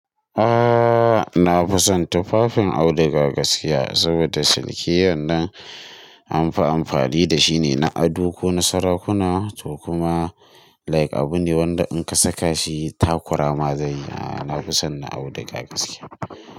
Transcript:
Ah, na fi son tufafin auduga gaskiya saboda siliki wannan anfi amfani da shine na ado ko na sarakuna to kuma like abune wanda in ka saka shi takura ma zai yi. Ah na fi son na auduga gaskiya.